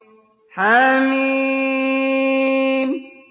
حم